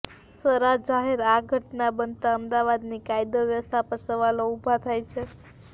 સરાજાહેર આ ઘટના બનતા અમદાવાદની કાયદો વ્યવસ્થા પર સવાલો ઉભા થાય છે